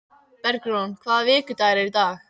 Bergrún, hvaða vikudagur er í dag?